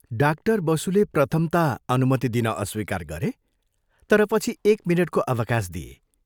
Doctor बसुले प्रथम ता अनुमति दिन अस्वीकार गरे तर पछि एक मिनटको अवकाश दिए।